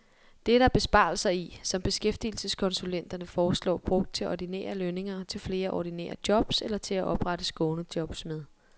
Det er der besparelser i, som beskæftigelseskonsulenterne foreslår brugt til ordinære lønninger til flere ordinære jobs, eller til at oprette skånejobs med.